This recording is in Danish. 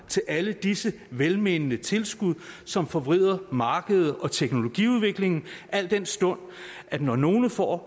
til alle disse velmente tilskud som forvrider markedet og teknologiudviklingen al den stund at når nogle får